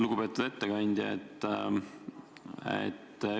Lugupeetud ettekandja!